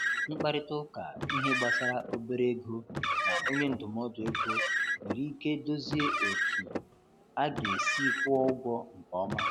Nkparịta ụka ihe gbasara obere ego na onye ndụmọdụ ego nwere ike dozie otú a ga-esi kwụọ ụgwọ nke ọma.